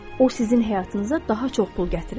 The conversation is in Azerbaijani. O sizin həyatınıza daha çox pul gətirir.